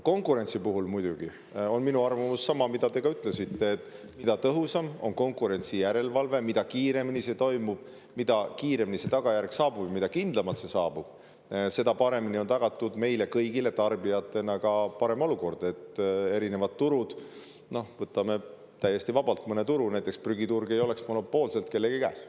Konkurentsi kohta, muidugi, on minu arvamus sama, nagu teie ütlesite, et mida tõhusam on konkurentsijärelevalve, mida kiiremini see toimub, mida kiiremini see tagajärg saabub ja mida kindlamalt see saabub, seda paremini on meile kõigile tarbijatena tagatud ka parem olukord – võtan täiesti vabalt mõne turu –, näiteks prügiturg ei oleks siis monopoolselt kellegi käes.